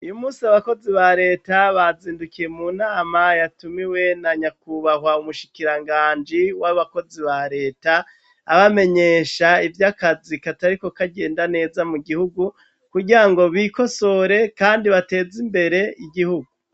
Uyumusi abakozi ba reta bazindukiye munama yatumiwe na nyakubahwa umushikiranganji w'abakozi ba reta abamenyesha ivy'akazi katariko kagenda neza mugihugu kugirango bikosore kandi bateze imbere igihugu.